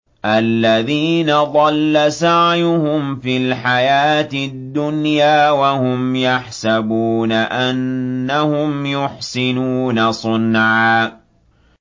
الَّذِينَ ضَلَّ سَعْيُهُمْ فِي الْحَيَاةِ الدُّنْيَا وَهُمْ يَحْسَبُونَ أَنَّهُمْ يُحْسِنُونَ صُنْعًا